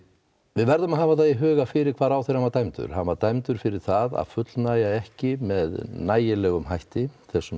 við verðum að hafa í huga fyrir hvað ráðherra var dæmdur hann var dæmdur fyrir það að fullnægja ekki með nægilegum hætti þessum